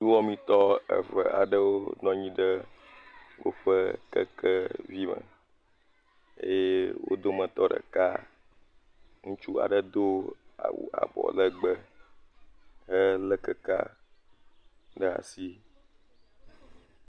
Nuwɔmetɔ eve aɖewo nɔnyi ɖe oƒe kekevi me, eye o dometɔ ɖeka ŋutsu aɖe do awu abɔ legbee he lé kekea ɖe asi.